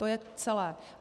To je celé.